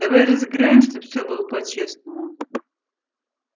давай разыграем чтобы всё было по-честному